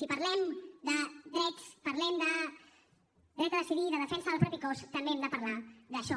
si parlem de drets parlem de dret a decidir i de defensa del propi cos també hem de parlar d’això